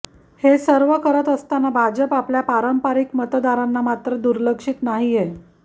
हे सर्व करत असताना भाजप आपल्या पारंपरिक मतदारांना मात्र दुर्लक्षित नाहीये